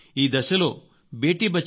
ఈ దశలో బేటీ బచావో